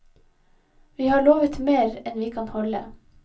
Vi har lovet mer enn vi kan holde.